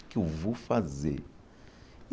O que é que eu vou fazer?